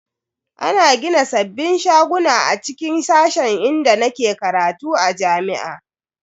Ana gina sabbin shaguna a cikin sashen inda nake karatu a jami'a.